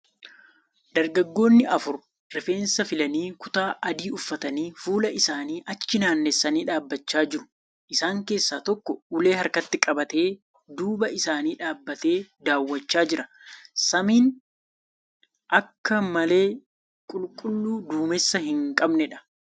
Dargaggoonni afur rifeensa filanii kutaa adii uffatanii fuula isaanii achi naannessanii dhaabbachaa jiru . Isaan keessa tokko ulee harkatti qabatee duuba isaanii dhaabatee daawwachaa jira. Samiin akka malee qulqulluu duumessa hin qabneedha.